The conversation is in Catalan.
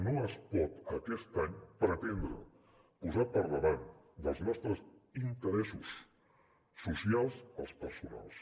no es pot aquest any pretendre posar per davant dels nostres interessos socials els personals